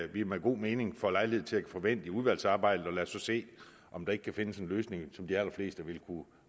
vi med god mening får lejlighed til at få vendt i udvalgsarbejdet og lad os så se om der ikke kan findes en løsning som de allerfleste vil kunne